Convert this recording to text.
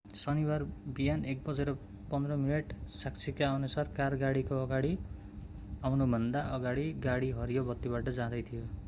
शनिबार बिहान 1:15 बजे साक्षीकाअनुसार कार गाडीको अगाडि आउनुभन्दा अगाडि गाडी हरियो बत्तीबाट जाँदै थियो